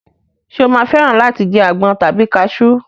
Ṣé o máa fẹ́ràn láti jẹ àgbọn tàbí kasú?